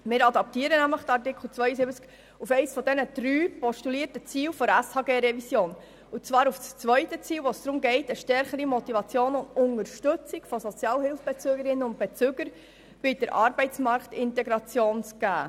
Wir adaptieren diesen Artikel 72 auf eines der drei postulierten Ziele der SHG-Revision, und zwar auf das zweite, bei welchem es darum geht, den Sozialhilfebezügerinnen und -bezügern eine stärkere Motivationsgrundlage und Unterstützung bei der Arbeitsmarktintegration anzubieten.